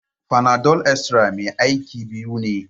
Fanadol Extra mai aiki biyu ne.